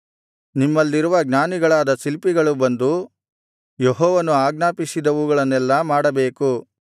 ನಿಮ್ಮಲ್ಲಿರುವ ಜ್ಞಾನಿಗಳಾದ ಶಿಲ್ಪಿಗಳು ಬಂದು ಯೆಹೋವನು ಆಜ್ಞಾಪಿಸಿದವುಗಳನ್ನೆಲ್ಲಾ ಮಾಡಬೇಕು